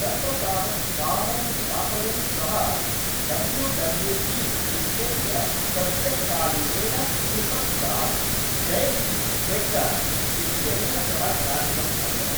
तत्र तावत् कालं यापयन् सः डब्ल्यू डब्ल्यू ई इत्यस्य सद्यःकालीनेन सुपर्स्टार् जैक् स्वेग्गर् इत्यनेन सह कार्यम् अकरोत्।